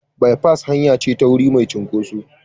Bipas hanya ce ta wuri mai cunkoso.